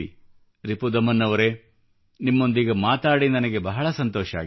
ರಿಪುದಮನ್ ಅವರೇ ನಿಮ್ಮೊಂದಿಗೆ ಮಾತಾಡಿ ನನಗೆ ಬಹಳ ಸಂತೋಷವಾಗಿದೆ